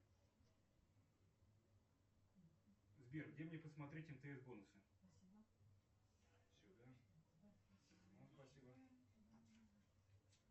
сбер где мне посмотреть мтс бонусы